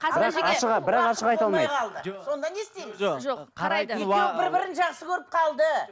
екеуі бір бірін жақсы көріп қалды